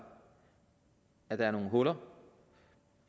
at der er nogle huller